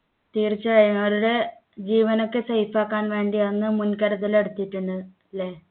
തീർച്ചയായും അവരുടെ ജീവനൊക്കെ safe ആക്കാൻ വേണ്ടിയാണ് മുൻകരുതൽ എടുത്തിട്ടുണ്ട് ല്ലേ